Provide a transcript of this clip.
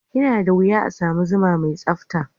Yana da wuya a sami zuma mai tsabta.